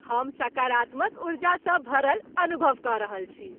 हम सकारात्मक ऊर्जासँ भरल अनुभव कऽ रहल छी।